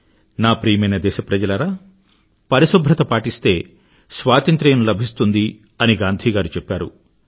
నా ప్రియమైన దేశప్రజలారా పరిశుభ్రత పాటిస్తే స్వాతంత్ర్యం లభిస్తుంది అని గాంధీగారు చెప్పారు